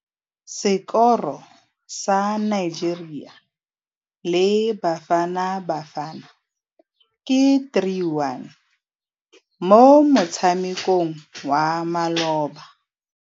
Sekôrô sa Nigeria le Bafanabafana ke 3-1 mo motshamekong wa malôba.